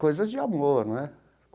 Coisas de amor, né?